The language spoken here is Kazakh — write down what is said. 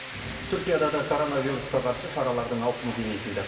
түркияда да коронавирусқа қарсы шаралардың ауқымы кеңейтілді